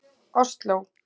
Osló